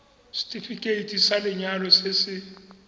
setefikeiti sa lenyalo se se